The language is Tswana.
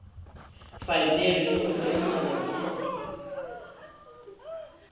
saenilwe le go tempiwa ke